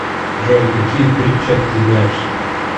джой какие притча ты знаешь